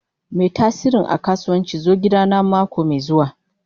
Mai tasirin a kasuwanci zo gidana mako mai zuwa.